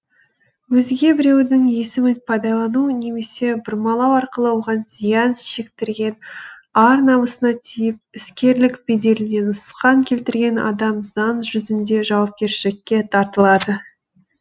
өзге біреудің есімін пайдалану немесе бұрмалау арқылы оған зиян шектірген ар намысына тиіп іскерлік беделіне нұқсан келтірген адам заң жүзінде жауапкершілікке тартылады